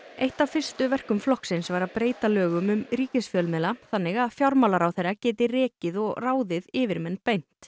eitt af fyrstu verkum flokksins var að breyta lögum um ríkisfjölmiðla þannig að fjármálaráðherra geti rekið og ráðið yfirmenn beint